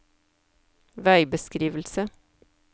veibeskrivelse